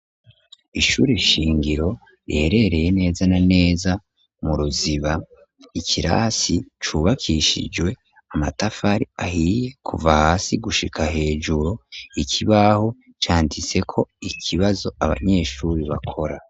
Ishuri shingiro riherereye neza na neza mu ruziba, ikirasi cubakishijwe amatafari ahiye kuva hasi gushika hejuru, ikibaho canditse ko ikibazo abanyeshuri bakora.